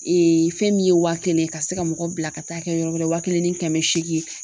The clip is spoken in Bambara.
fɛn min ye wa kelen ka se ka mɔgɔ bila ka taa kɛ yɔrɔ wɛrɛ wa kelen ni kɛmɛ seegin